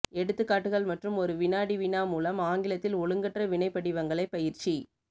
எடுத்துக்காட்டுகள் மற்றும் ஒரு வினாடி வினா மூலம் ஆங்கிலத்தில் ஒழுங்கற்ற வினை படிவங்களை பயிற்சி